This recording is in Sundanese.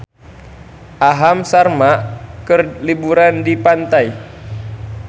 Aham Sharma keur liburan di pantai